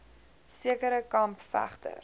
sekere kamp vegters